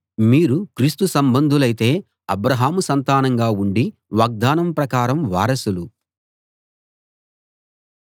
మీరు క్రీస్తు సంబంధులైతే అబ్రాహాము సంతానంగా ఉండి వాగ్దానం ప్రకారం వారసులు